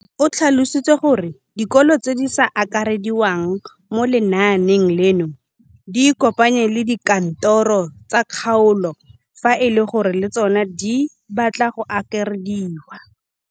O tlhalositse gore dikolo tse di sa akarediwang mo lenaaneng leno di ikopanye le dikantoro tsa kgaolo fa e le gore le tsona di batla go akarediwa.